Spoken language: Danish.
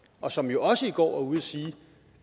og som jo også i går var ude og sige